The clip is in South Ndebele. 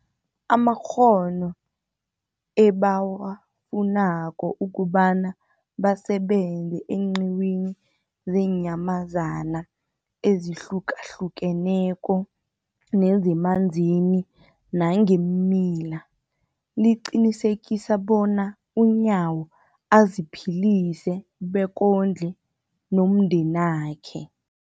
amakghono ebawafunako ukobana basebenze eenqiwini zeenyamazana ezihlukahlukeneko nezemanzini nangeemila, liqinisekisa bona uNyawo aziphilise bekondle nomndenakhe.